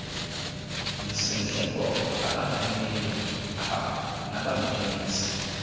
msindleko abathumeli nabangenisi